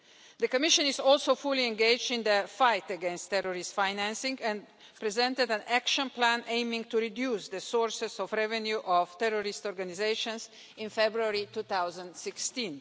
The Commission is also fully engaged in the fight against terrorist financing and presented an action plan aiming to reduce the sources of revenue of terrorist organisations in February 2016.